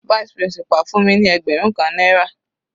Vice principal fún mi ní ẹgbẹrun kan náírà.